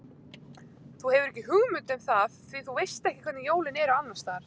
Þú hefur ekki hugmynd um það því þú veist ekki hvernig jólin eru annars staðar